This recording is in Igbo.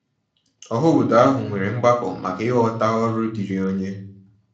Ọhaobodo ahụ nwere ọgbakọ maka ịghọta ọrụ diiri onye.